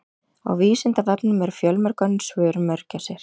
Á Vísindavefnum eru fjölmörg önnur svör um mörgæsir.